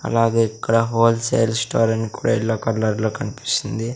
అలాగే ఇక్కడ wholesale store అని కూడా ఎల్లో కలర్లో కన్పిస్తుంది.